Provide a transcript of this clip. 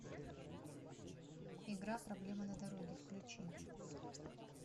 игра проблема на дороге включи